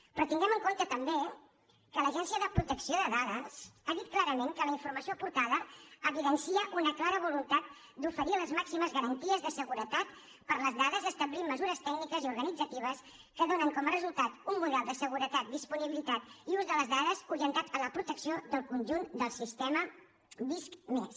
però tinguem en compte també que l’agència de protecció de dades ha dit clarament que la informació aportada evidencia una clara voluntat d’oferir les màximes garanties de seguretat per a les dades establint mesures tècniques i organitzatives que donen com a resultat un model de seguretat disponibilitat i ús de les dades orientat a la protecció del conjunt del sistema visc+